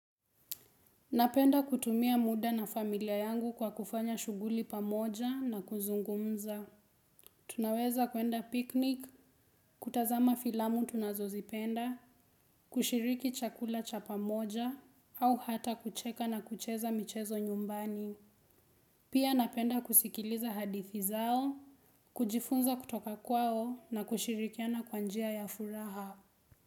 Napenda kutumia muda na familia yangu kwa kufanya shuguli pamoja na kuzungumza. Tunaweza kuenda piknik, kutazama filamu tunazozipenda, kushiriki chakula cha pamoja, au hata kucheka na kucheza michezo nyumbani. Pia napenda kusikiliza hadithi zao, kujifunza kutoka kwao na kushirikiana kwa njia ya furaha.